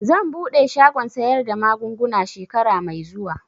Zan buɗe shagon sayar da magunguna shekara mai zuwa